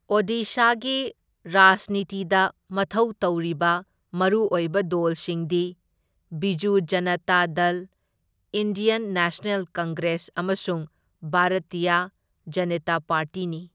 ꯑꯣꯗꯤꯁꯥꯒꯤ ꯔꯥꯖꯅꯤꯇꯤꯗ ꯃꯊꯧ ꯇꯧꯔꯤꯕ ꯃꯔꯨ ꯑꯣꯏꯕ ꯗꯣꯜꯁꯤꯡꯗꯤ Biju Janata Dal, Indian National Congress ꯑꯃꯁꯨꯡ ꯚꯥꯔꯇꯤꯌ ꯖꯅꯇꯥ ꯄꯥꯔꯇꯤꯅꯤ꯫